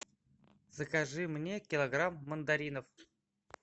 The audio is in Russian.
закажи мне килограмм мандаринов